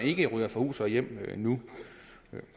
ikke ryger fra hus og hjem nu